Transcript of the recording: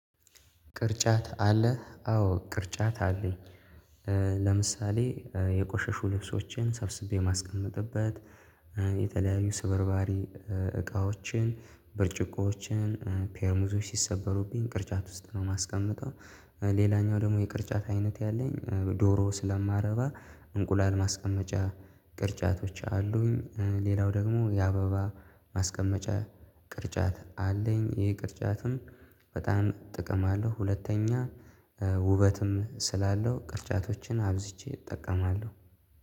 ቅርጫት አለህ አዎ ቅርጫት አለኝ። ለምሳሌ የቆሸሹ ልብሶችን ሰብስቤ ማስቀመጥበት የተለያዩ ስብርባሪ እቃዎችን ብርጭቆዎችን ፔርሙዞች ሲሰበሩብኝ ቅርጫት ውስጥ ነው ማስቀመጠው። ሌላኛው ደግሞ የቅርጫት አይነት ያለኝ ዶሮ ስለማረባ እንቁላል ማስቀመጫ ቅርጫቶች አሉኝ። ሌላው ደግሞ የአበባ ማስቀመጫ ቅርጫት አለኝ። ይሄ ቅርጫትም በጣም ጥቅም አለው ሁለተኛ ውበትም ስላለው ቅርጫቶችን አብዝቼ እጠቀማለሁ።